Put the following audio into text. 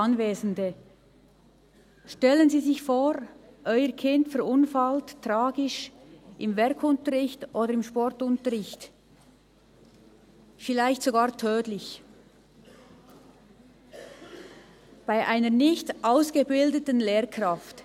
Stellen Sie sich vor, Ihr Kind verunfallt im Werk- oder im Sportunterricht tragisch – vielleicht sogar tödlich, bei einer nicht ausgebildeten Lehrkraft.